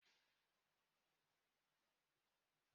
Mayọnais anaghị amasị m